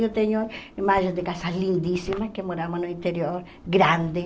Eu tenho imagens de casas lindíssimas, que morávamos no interior, grandes,